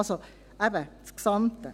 Also, eben: das Gesamte.